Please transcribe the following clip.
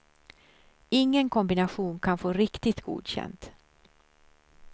Ingen kombination kan få riktigt godkänt.